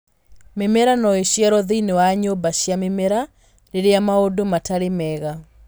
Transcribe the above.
Mĩmera no ĩciarũo thĩinĩ wa nyũmba cia mĩmera rĩrĩa maũndũ matarĩ mega.